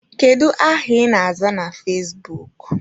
Kedu aha ị na-aza na fezbuk?